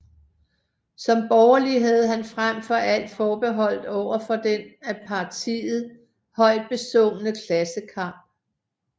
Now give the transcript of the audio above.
Som borgerlig havde han frem for alt forbehold overfor den af partiet højtbesungne klassekamp